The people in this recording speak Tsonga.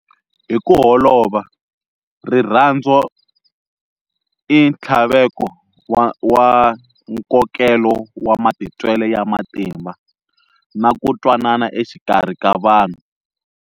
Hiku holova, rirhandzu i nthlaveko wa nkokelo wa matitwele ya matimba na ku twanana exikarhi ka vanhu.